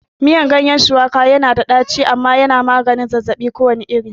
Miyan ganyen shuwaka yana da ɗaci kuma yana magani zazzabi kowane iri